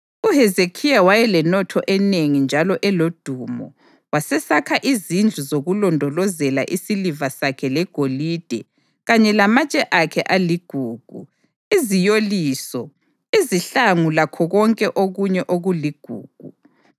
UHezekhiya wayelenotho enengi njalo elodumo, wasesakha izindlu zokulondolozela isiliva sakhe legolide kanye lamatshe akhe aligugu, iziyoliso, izihlangu lakho konke okunye okuligugu.